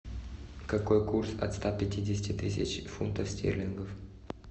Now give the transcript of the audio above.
какой курс от ста пятидесяти тысяч фунтов стерлингов